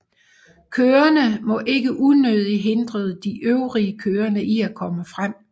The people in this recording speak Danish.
Kørende må ikke unødigt hindre de øvrige kørende i at komme frem